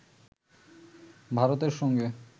ভারতের সঙ্গে